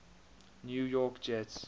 new york jets